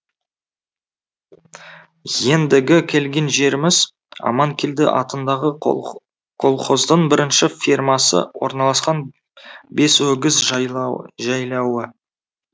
ендігі келген жеріміз аманкелді атындағы колхоздың бірінші фермасы орналасқан бесөгіз жайла жайлауы